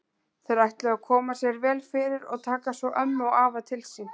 Þeir ætluðu að koma sér vel fyrir og taka svo ömmu og afa til sín.